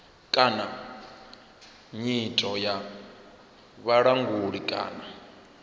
kana nyito ya vhulanguli kana